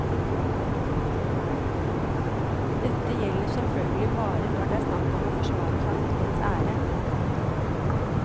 Dette gjelder selvfølgelig bare når det er snakk om å forsvare familiens ære.